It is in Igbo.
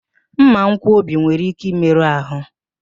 Mmankwọbi nwere ike ịmerụ ahụ